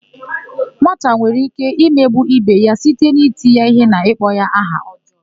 Nwata nwere íké imegbu íbé ya site n'iti ya íhé na ịkpọ ya aha ọjọọ.